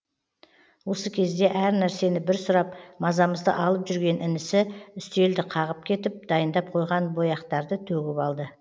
осы кезде әр нәрсені бір сұрап мазамызды алып жүрген інісі үстелді қағып кетіп дайындап қойған бояқтарды төгіп алды